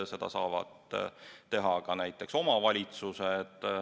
Seda saavad teha ka omavalitsused.